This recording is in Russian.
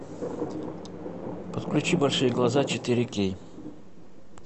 подключи большие глаза четыре кей